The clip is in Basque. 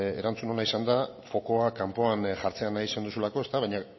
erantzun ona izan da fokua kanpoan jartzea nahi izan duzulako baina